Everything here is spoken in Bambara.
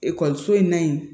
Ekɔliso in na yen